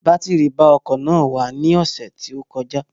Batiri ba ọkọ̀ náà wà ní ọ̀sẹ̀ tó kọjá